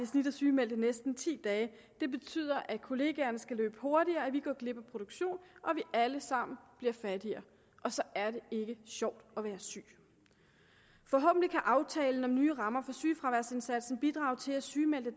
snit er sygemeldt i næsten ti dage det betyder at kollegaerne skal løbe hurtigere at vi går glip af produktion og at vi alle sammen bliver fattigere og så er det ikke sjovt at være syg forhåbentlig kan aftalen om nye rammer for sygefraværsindsatsen bidrage til at sygemeldte